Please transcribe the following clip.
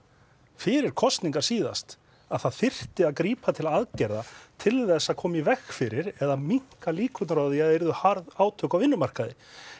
fyrir kosningar síðast að það þyrfti að grípa til aðgerða til þess að koma í veg fyrir eða minnka líkur á að yrðu hörð átök á vinnumarkaði